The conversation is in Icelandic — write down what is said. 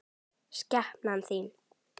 Skepnan þín!